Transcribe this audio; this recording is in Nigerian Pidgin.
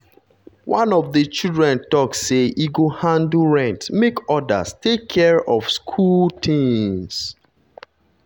one of the children talk say e go handle rent make others take care of school things.